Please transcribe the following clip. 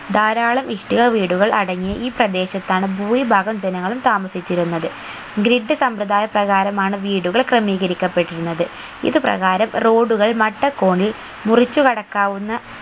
ധാരാളം ഇഷ്ടിക വീടുകൾ അടങ്ങിയ ഈ പ്രദേശത്താണ് ഭൂരിഭാഗം ജനങ്ങളും താമസിച്ചിരുന്നത് grid സംമ്പ്രദായ പ്രകാരമാണ് വീടുകൾ ക്രമീകരിക്കപ്പെട്ടിരുന്നത് ഇത് പ്രകാരം road കൾ മട്ടകോണിൽ മുറിച്ചു കടക്കാവുന്ന